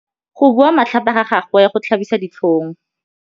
Go bua matlhapa ga gagwe go tlhabisa ditlhong.